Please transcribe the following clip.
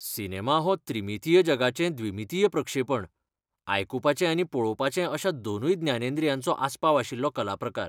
Cinema हो त्रिमितीय जगाचें द्विमितीय प्रक्षेपण, आयकुपाचे आनी पळोवपाचे अश्या दोनूय ज्ञानेंद्रियांचो आसपाव आशिल्लो कला प्रकार.